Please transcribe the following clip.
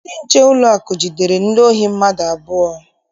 Ndị nche ụlọakụ jidere ndị ohi mmadụ abụọ.